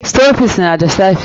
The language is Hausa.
Stockfish na da safe.